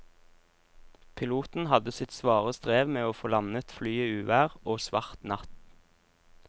Piloten hadde sitt svare strev med å få landet flyet i uvær og svart natt.